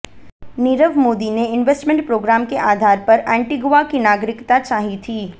नीरव मोदी ने investment program के आधार पर एंटीगुआ की नागरिकता चाही थी